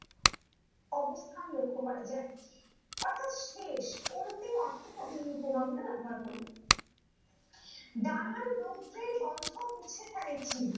অবস্থান লক্ষ্য করা যায় অর্থ্যাৎ শেষ অন্তিম অর্থ্যে কবি এই উপনাম তা ব্যাবহার করেছেন ডানার রৌদ্রের গন্ধ্য মুছে ফেলে কে